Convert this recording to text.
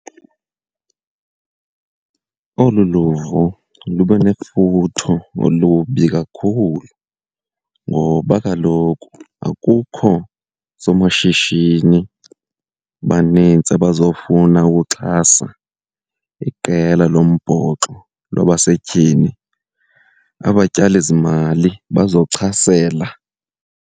Olu luvo lube nefuthe olubi kakhulu ngoba kaloku akukho somashishini banintsi abazofuna ukuxhasa iqela lombhoxo lwabasetyhini, abatyalizimali bazochasela.